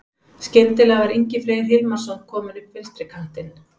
Skyndilega var Ingi Freyr Hilmarsson kominn upp vinstri kantinn.